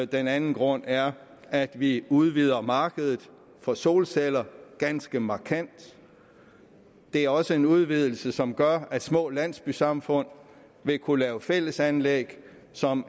den anden grund er at vi udvider markedet for solceller ganske markant det er også en udvidelse som gør at små landsbysamfund vil kunne lave fællesanlæg som